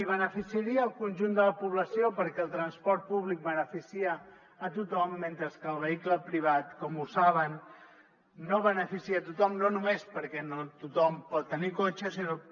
i beneficiaria el conjunt de la població perquè el transport públic beneficia tothom mentre que el vehicle privat com saben no beneficia tothom no només perquè no tothom pot tenir cotxe sinó